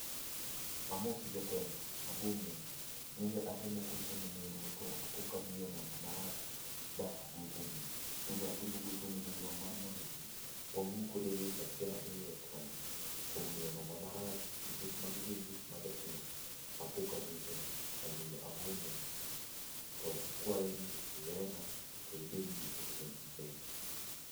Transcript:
Amosi jatelo, ago mos, nende atemo gocho ne nerwa, to apo ka adiyo namba marach ba agocho ni. Nende atemo gocho ne nerwa mar mondo wawuo kode weche achiel ariyo, to kuom diyo namba marach, nikech magi gin gik ma jatimore, apo ka agocho ni. Omiyo ago mos, to akwayo ni iwena to ibed gi otieno' maber.